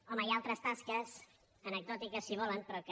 home hi ha altres tasques anecdòtiques si volen però que